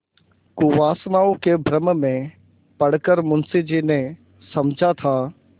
कुवासनाओं के भ्रम में पड़ कर मुंशी जी ने समझा था